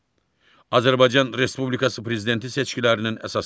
Azərbaycan Respublikası Prezidenti seçkilərinin əsasları.